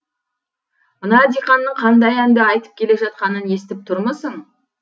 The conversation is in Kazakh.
мына диқанның қандай әнді айтып келе жатқанын естіп тұрмысың